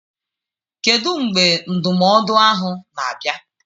Kedu mgbe ndụmọdụ ahụ na-abịa.